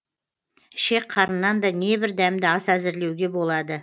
ішек қарыннан да небір дәмді ас әзірлеуге болады